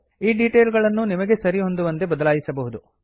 ಈ ಡೀಟೇಲ್ ಗಳನ್ನೂ ನಿಮಗೆ ಸರಿಹೊಂದುವಂತೆ ಬದಲಾಯಿಸಬಹುದು